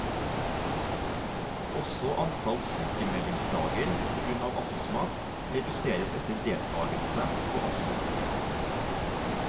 Også antall sykemeldingsdager på grunn av astma reduseres etter deltagelse på astmaskolen.